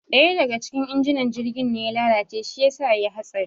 ɗaya daga cikin injinan jirgin ne ya lalace shi yasa yayi hatsari